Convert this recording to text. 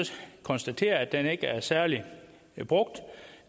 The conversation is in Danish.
konstatere at den ikke er særlig brugt